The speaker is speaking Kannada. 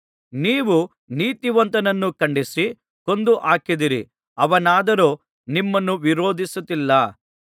ನೀವು ನೀತಿವಂತನನ್ನು ಖಂಡಿಸಿ ಕೊಂದು ಹಾಕಿದ್ದೀರಿ ಅವನಾದರೋ ನಿಮ್ಮನ್ನು ವಿರೋಧಿಸುತ್ತಿಲ್ಲ